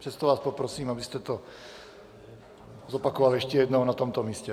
Přesto vás poprosím, abyste to zopakoval ještě jednou na tomto místě.